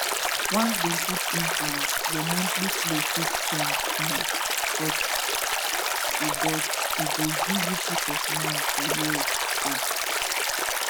once dem put implant your monthly flow fit change small but e but e go give you peace of mind for years straight